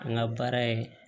An ka baara ye